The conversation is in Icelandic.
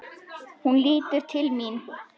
Hún lítur til mín.